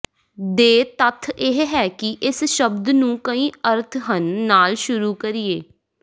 ਦੇ ਤੱਥ ਇਹ ਹੈ ਕਿ ਇਸ ਸ਼ਬਦ ਨੂੰ ਕਈ ਅਰਥ ਹਨ ਨਾਲ ਸ਼ੁਰੂ ਕਰੀਏ